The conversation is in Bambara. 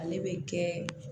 Ale bɛ kɛ